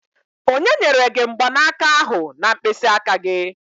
Onye nyere gị mgbanaka ahụ na mkpịsị aka gị?